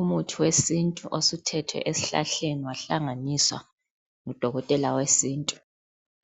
Umuthi wesintu osuthethwe esihlahleni wahlanganiswa ngudokotela wesintu